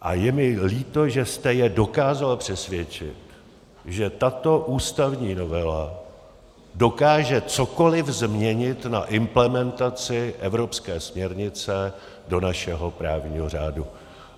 A je mi líto, že jste je dokázal přesvědčit, že tato ústavní novela dokáže cokoli změnit na implementaci evropské směrnice do našeho právního řádu.